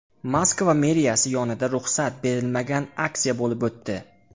Moskva meriyasi yonida ruxsat berilmagan aksiya bo‘lib o‘tdi.